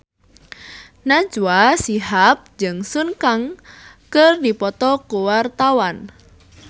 Najwa Shihab jeung Sun Kang keur dipoto ku wartawan